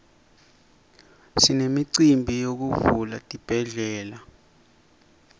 sinemicimbi yekuvula tibhedlela